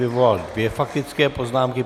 Vyvolal dvě faktické poznámky.